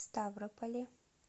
ставрополе